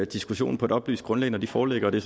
diskussionen på et oplyst grundlag når det foreligger det